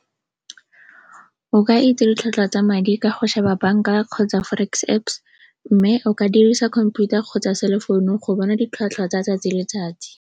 O ka itse ditlhwatlhwa tsa madi ka go sheba banka kgotsa forex Apps mme o ka dirisa computer kgotsa cellphone go bona ditlhwatlhwa tsa 'tsatsi le letsatsi.